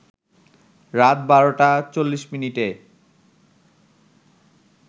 রাত ১২টা ৪০ মিনিটে